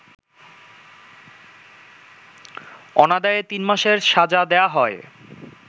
অনাদায়ে ৩ মাসের সাজা দেয়া হয়